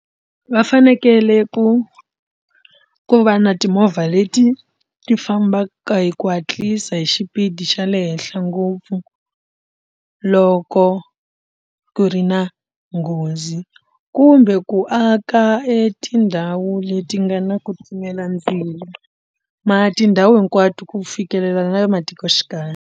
Va fanekele ku ku va na timovha leti ti fambaka hi ku hatlisa hi xipidi xa le henhla ngopfu loko ku ri na nghozi kumbe ku aka etindhawu leti nga na ku timela ndzilo tindhawu hinkwato ku fikelela na le matikoxikaya.